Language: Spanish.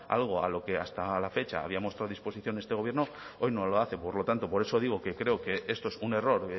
algo a lo que hasta la fecha había mostrado disposición este gobierno hoy no lo hace por lo tanto por eso digo que creo que esto es un error